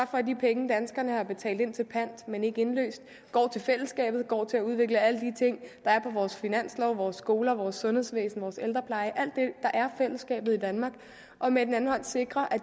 for at de penge danskerne har betalt ind til pant men ikke indløst går til fællesskabet går til at udvikle alle de ting der er på vores finanslov altså vores skoler vores sundhedsvæsen vores ældrepleje alt det er fællesskabet i danmark med den anden hånd sikrer